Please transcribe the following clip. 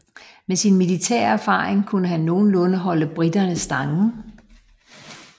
Med sin militære erfaring kunne han nogenlunde holde briterne stangen